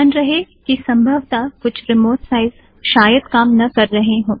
ध्यान रहे की संभवता कुछ रिमोट साइट्स शायद काम न कर रहे हों